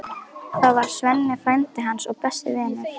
Það var Svenni, frændi hans og besti vinur.